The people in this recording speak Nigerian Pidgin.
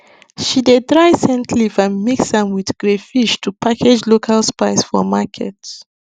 she dey dry scent leaf and mix am with crayfish to package local spice for market